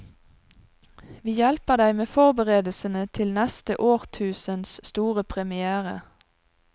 Vi hjelper deg med forberedelsene til neste årtusens store première.